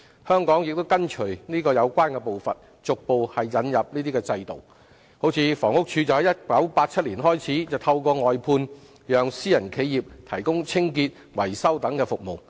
香港亦跟隨有關步伐，逐步引入這種制度，如房屋署在1987年開始透過外判讓私人企業提供清潔、維修等服務。